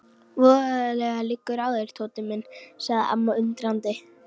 Voðalega liggur þér á Tóti minn sagði amma undrandi.